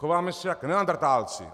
Chováme se jako neandrtálci!